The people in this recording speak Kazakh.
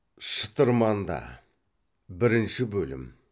шытырманда бірінші бөлім